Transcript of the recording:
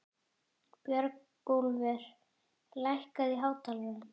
Björgúlfur, lækkaðu í hátalaranum.